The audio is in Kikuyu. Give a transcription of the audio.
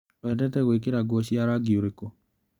Wendete gwĩkĩra nguo cia rangi ũrĩkũ?